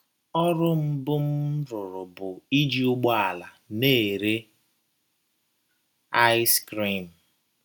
Ọrụ mbụ m rụrụ bụ iji ụgbọala na - ere ice cream.